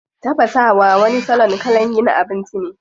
Tafasawa wani salon kalan yin abinci ne.